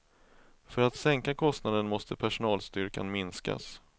För att sänka kostnaden måste personalstyrkan minskas.